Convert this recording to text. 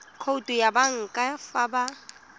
khoutu ya banka fa ba